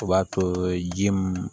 O b'a to ji mun